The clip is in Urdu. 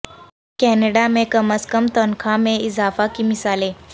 کینیڈا میں کم از کم تنخواہ میں اضافہ کی مثالیں